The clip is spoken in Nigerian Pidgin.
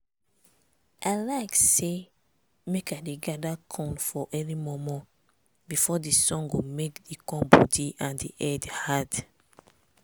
i like say make i dey gather corn for early mor mor before di sun go make di corn body and di head hard.